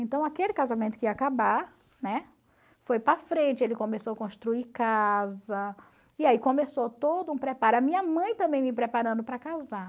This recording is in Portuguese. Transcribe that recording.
Então aquele casamento que ia acabar, né, foi para a frente, ele começou a construir casa, e aí começou todo um preparo, a minha mãe também me preparando para casar.